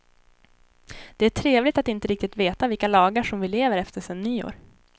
Det är trevligt att inte riktigt veta vilka lagar som vi lever efter sedan nyår.